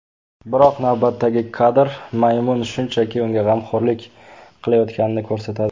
Biroq navbatdagi kadr maymun shunchaki unga g‘amxo‘rlik qilayotganini ko‘rsatadi.